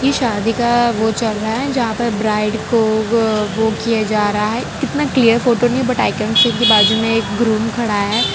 शादी का वो चल रहा है जहां पर ब्राइड को किया जा रहा है कितना क्लियर फोटो नहीं है के बाजू में ग्रूम खड़ा है।